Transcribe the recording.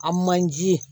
A manje